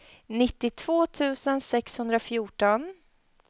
nittiotvå tusen sexhundrafjorton